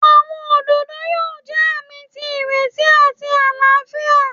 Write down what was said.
Awọn ododo yoo jẹ aami ti ireti ati alaafia.